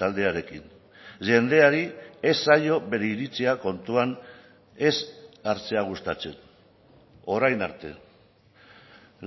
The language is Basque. taldearekin jendeari ez zaio bere iritzia kontuan ez hartzea gustatzen orain arte